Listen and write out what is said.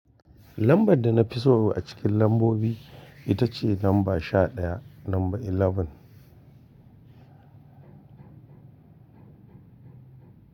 Lambar da na fi so a cikin lambobi ita ce lamba sha ɗaya, lamba 11.